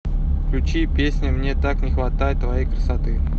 включи песня мне так не хватает твоей красоты